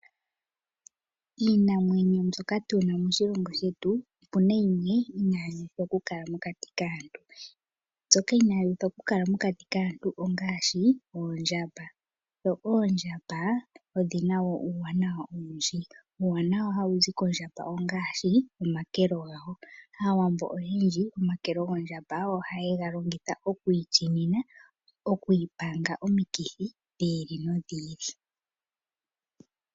Iinamwenyo mbyoka tuna moshilongo shetu otuna yimwe inayi uthwa okukala mokati kaantu . Mbyoka inayi uthwa okukala mokati kaantu ongaashi oondjamba . Oondjamba odhina woo uuwanawa owundji . Uuwanawa hawu zi kondjamba ongaashi omakelo gawo ,aawambo oyendji omakelo gondjamba ohaye ga longitha oku itsinina ,oku ipanga omikithi dhi ili nodhi ili .